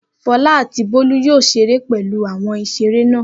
Fọlá àti Bólú yóò ṣeré pẹ̀lú àwọn ìṣeré náà.